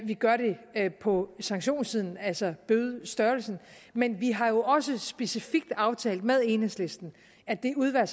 gør vi det på sanktionssiden altså bødestørrelsessiden men vi har jo også specifikt aftalt med enhedslisten at det udvalg